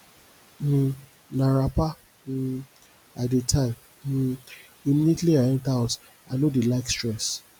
um na wrapper um i dey tie um immediately i enta house i no dey like stress